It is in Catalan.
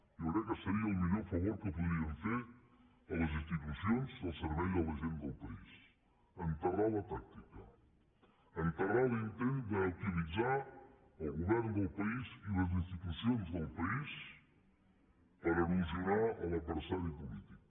jo crec que seria el millor favor que podríem fer a les institucions i al servei a la gent del país enterrar la tàctica enterrar l’intent d’utilitzar el govern del país i les institucions del país per erosionar l’adversari polític